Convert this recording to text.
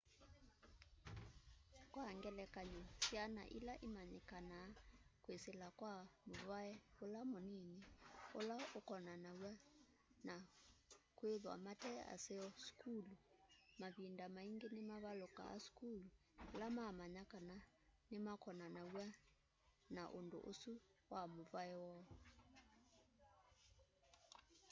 kwa ngelekany'o syana ila imanyikanaa kwisila kwa muvai ula munini ula ukonanaw'a na kwithwa mate aseo sukulu mavinda maingi nimavalukaa sukulu ila mamanya kana nimakonanaw'a na undu usu wa muvai woo